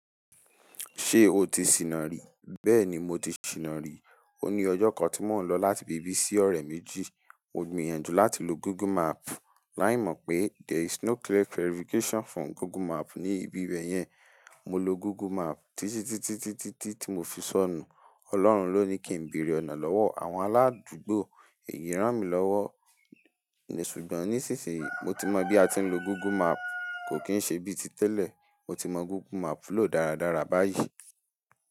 Ṣé o ti sìnà ri? Bẹ́ẹ̀ ni, mo ti sìnà ri. O ní ọjọ́ kan tí mò ń lọ láti ibi bi sí ọ̀rẹ́ méjì. Mo gbìyànjú láti lo Google Map. Láì mọ̀ pé there is no clear verification for Google Map ní ibi bee yẹn. Mo lo Google Map títítí tí mo fi sọnù. Ọlọ́run ló ní kí n bèrè ọ̀nà lọ́wọ́ àwọn aládùúgbò. Èyí rán mi lọ́wọ́. Ṣùgbọ́n nísinsìnyí, mo ti mọ bí a ti ń lo Google Map. Kò kí ń ṣe bí ti tẹ́lẹ̀. Mo ti mọ Google Map lò dáradára báyìí.